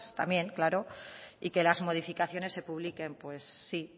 también claro y que las modificaciones se publiquen pues sí